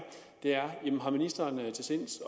er ministeren til sinds